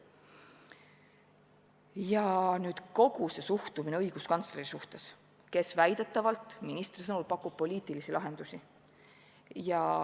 Ja kogu suhtumine õiguskantslerisse, kes väidetavalt, ministri sõnul, pakub poliitilisi lahendusi.